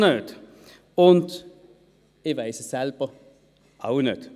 Ich weiss es selber auch nicht.